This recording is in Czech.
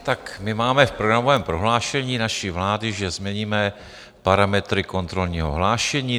Tak my máme v programovém prohlášení naší vlády, že změníme parametry kontrolního hlášení.